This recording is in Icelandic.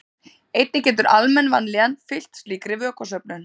einnig getur almenn vanlíðan fylgt slíkri vökvasöfnun